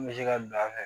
N bɛ se ka bila an fɛ